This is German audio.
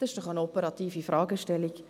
Das ist doch eine operative Fragestellung.